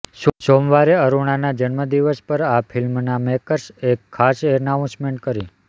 સોમવારે અરુણના જન્મદિવસ પર આ ફિલ્મના મેકર્સે એક ખાસ એનાઉન્સમેન્ટ કરી